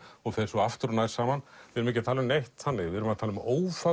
og fer aftur og nær saman við erum ekki að tala um neitt þannig við erum að tala um